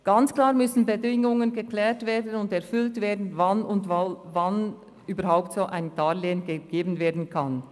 Ganz klar müssen Bedingungen geklärt und erfüllt werden, wann überhaupt ein solches Darlehen gegeben werden kann.